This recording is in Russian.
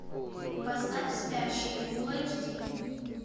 поставь спящие фул эйч ди